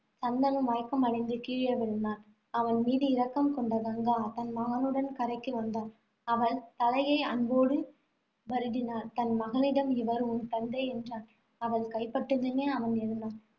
சந்தனு மயக்கமடைந்து கீழே விழுந்தான். அவன் மீது இரக்கம் கொண்ட கங்கா, தன் மகனுடன் கரைக்கு வந்தாள். அவள் தலையை அன்போடு வருடினாள். தன் மகனிடம், இவர் உன் தந்தை, என்றாள். அவள் கைப்பட்டதுமே அவன் எழுந்தான்.